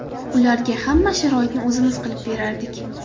Ularga hamma sharoitni o‘zimiz qilib berardik.